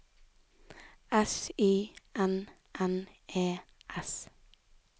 S Y N N E S